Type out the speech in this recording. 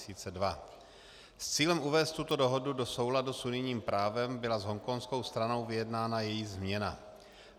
S cílem uvést tuto dohodu do souladu s unijním právem byla s hongkongskou stranou vyjednána její změna.